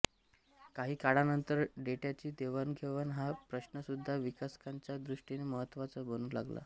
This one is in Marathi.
काही काळानंतर डेट्याची देवाणघेवाण हा प्रश्नसुद्धा विकासकांच्या दृष्टीने महत्वाचा बनू लागला